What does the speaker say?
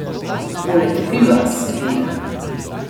Poleg piva, seveda.